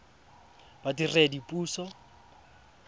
badiredipuso